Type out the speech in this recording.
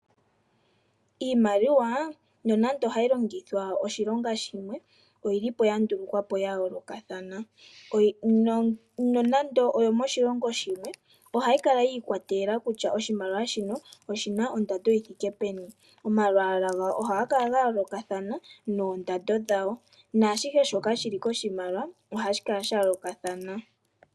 Iimaliwa nonando ohayi longithwa oshilonga shimwe oyi lipo yandulukwa ya yoolokothana. Nonando oyo moshilongo shimwe ohayi kala yiikwatelela kutya oshimaliwa shino oshina ondando yithike peni. Omalwalwa gawo noondando ohadhi kala dhayoolokathana naashihe shoka shiliko.